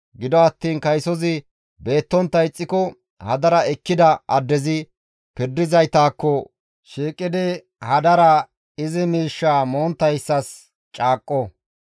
Gido attiin kaysozi beettontta ixxiko, hadara ekkida addezi pirdizaytakko shiiqidi hadara miishsha izi miishshaa monttayssas caaqqo.